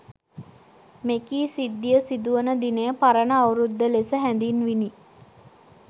මෙකී සිද්ධිය සිදු වන දිනය පරණ අවුරුද්ද ලෙස හැඳින්විණි.